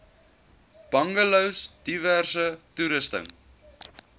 bungalows diverse toerusting